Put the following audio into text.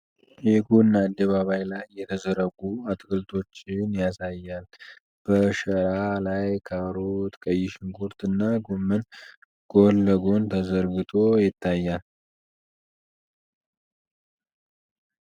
የጎን አደባባይ ላይ የተዘረጉ አትክልቶችን ያሳያ ል፤ በ ሸራ ላይ ካሮት፣ ቀይ ሽንኩርት እና ጎመን ጎን ለጎን ተዘርግቶ ይታያል ?